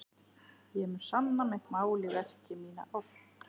Ég mun sanna mitt mál í verki, mína ást.